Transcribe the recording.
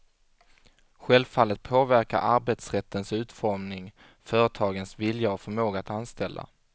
Självfallet påverkar arbetsrättens utformning företagens vilja och förmåga att anställa.